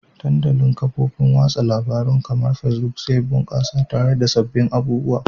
Dandalin kafofin watsa labarun kamar Facebook zai bunkasa tare da sababbin abubuwa